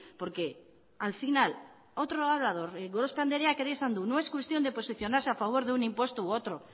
porque al final otro orador gorospe andreak ere esan du no es cuestión de posicionarse a favor de un impuesto u otro